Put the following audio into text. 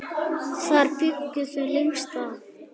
Þar bjuggu þau lengst af.